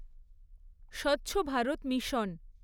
স্বচ্ছ ভারত মিশন